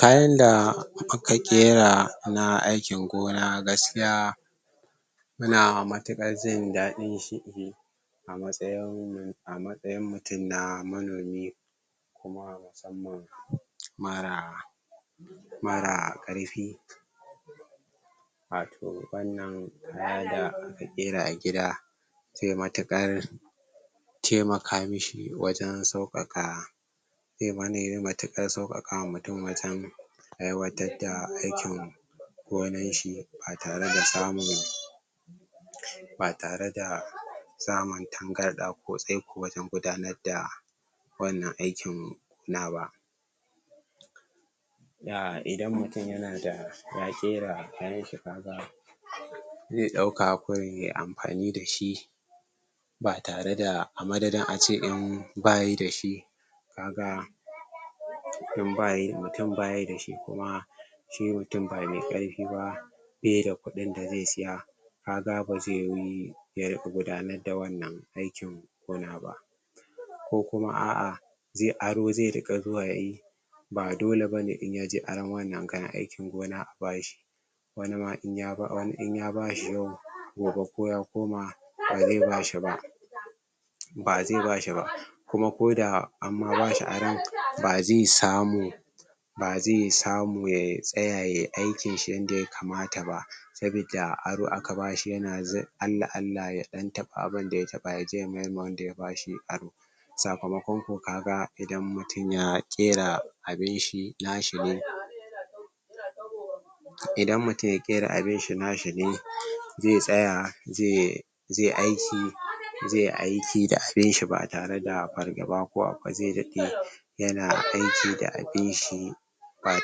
Kayan da mu ka ƙera na aikin gona na gaskiya mu na matakar jin dadin shi a matsayin mu, a matsayin mutum na manomi kuma musamman mara, mara karfi wato wannan, haya da ƙera a gida zai matakar taimaka mi shi wajen saukakka matakar saukakka ma mutum wajen aiwatar da aikin gonan shi a tare da samun ba tare da samun tangar da ko sai kuwa sun gudanar da wannan aikin na ba Da idan mutum ya na da, ya shera kayan shi, ka ga zai dauka kawai amfani dashi ba tare da a madaɗin a ce ba yi da shi ka ga in ba yi, mutum ba yi da shi kuma sai mutum ba mai aiki ba sai da kudn da zai tsiya, ka ga ba zai yi yar gudanar da wannan aikin gona ba ko kuma a'ah zai aro zai rka zuwa yayi ba dole ba ne in yaje aron wannan kayan aikin gona a bashi wani ma in ya bi wani in ya ba shi yau gobe ko ya koma ba zai ba shi ba ba zai ba shi ba kuma ko da amma ba shi aron, ba zai sammu ba zai sammu ya tsaya ya aikin shi yanda ya kamata ba sabida aro a ka ba shi, ya na za Allah Allah ya dan tabba abun da ya tabba ya je ya mayar ma wanda ya ba shi aro sakamakkon ku, ka ga idan mutum ya gera abin shi, na shi ne idan mutum ya gera abin shi, na shi ne, zai tsaya, zai zai aiki, zai aiki da abinshi ba'a tare da ba'a fargaba ko akwai zai dadde ya na aiki da abinshi ba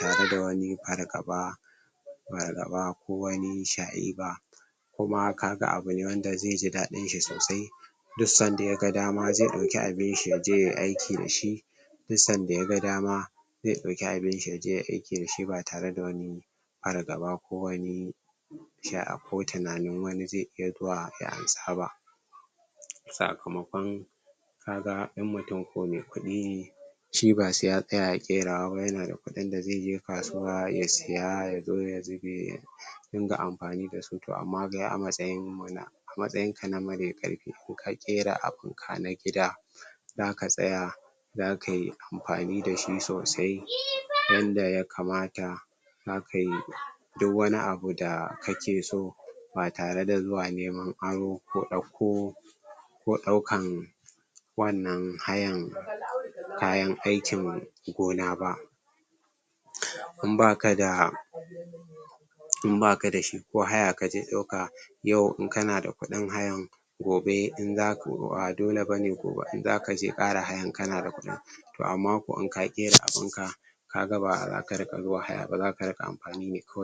tare da wani fargaba fargaba, ko wanni sha'e ba kuma ka ga abu ne wanda zai ji dadin sh sosai duk sanda ya ga dama zai dauki abinshi ya je yayi aiki da shi duk san da ya ga dama, zai dauki abinshi ya je yayi aiki da shi ba tare da wani fargaba ko wani sha'a ko tunanin wani zai iya zuwa ya ansa ba sakamakkon ka ga in mutum ko mai kudi shi ba sai ya tsaya ya kerawa ba, ya na da kudin da zai je kasuwa ya tsiya, ya zo ya zube kin ga amfani da su, toh amma ga matsayin muna, matsayin ka na nan bai karfe, ko ka kera a kurka na gida za ka tsaya za ka yi amfani da shi sosai, yan da ya kamata za ka yi duk wanni abu da kake so, ba tare da zuwa neman aro ko dauko ko daukan wannan hayan kayan aikin gona ba in ba ka da in ba ka da shi, ko haya ka je dauka yau in ka na da kudin hayan gobe in zakku, ba dole ba ne ku in za ka je ƙara hayan ka na da kudin toh amma ko in ka ƙera abunka ka ga ba ra ka rika zuwa haya ba, zaka rika amfani ne kawai